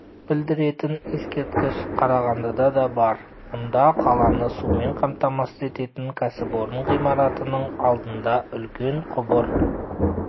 білдіретін ескерткіш қарағандыда да бар мұнда қаланы сумен қамтамасыз ететін кәсіпорын ғимаратының алдына үлкен құбыр